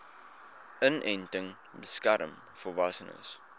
inenting beskerm volwassenes